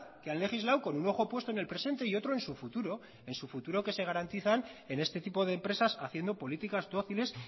que han legislado con un ojo puesto en el presente y otro en su futuro en su futuro que se garantizan en este tipo de empresas haciendo políticas dóciles